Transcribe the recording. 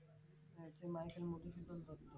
হ্যাঁ সে মাইকেল মধুসূদন দত্ত